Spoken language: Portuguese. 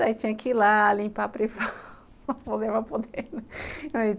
Daí tinha que ir lá, limpar a privada,